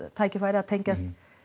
tækifæri að tengjast